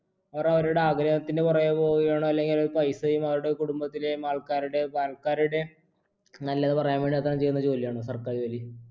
അവരവരുടെ ആഗ്രഹത്തിന് പിറകെ പോവുകയാണോ അല്ലെങ്കിൽ ഇങ്ങനെ പൈസയും അവരുടെ കുടുംബത്തിലെയും ആൾക്കാരുടെയും ആൾക്കാരുടെ നല്ലത് പറയാൻ വേണ്ടി മാത്രം ചെയ്യുന്ന ജോലിയാണോ സർക്കാർ ജോലി